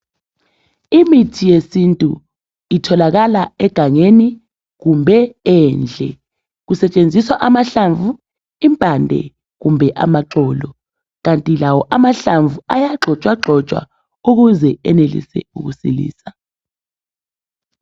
Imithi yesintu itholakala egangeni kumbe endle, kusetshenziswa amahlamvu, impande kumbe amaxolo. Kanti lawo amahlamvu ayagxotshwagxotshwa ukuze enelise ukusilisa.